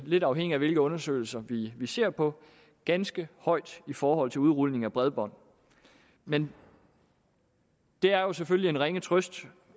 lidt afhængigt af hvilke undersøgelser vi ser på ganske højt i forhold til udrulning af bredbånd men det er jo selvfølgelig en ringe trøst